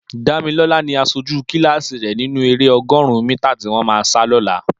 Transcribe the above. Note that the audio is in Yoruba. Damilola ni àṣójú kilási rè ninú éré ọgọ́ọ̀run mìtá tiwọn mà sá lọ̀là